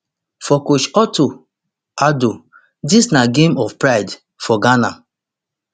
for coach otto addo dis na game of pride for ghana